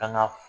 Ka na